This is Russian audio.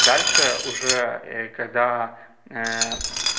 дальше уже когда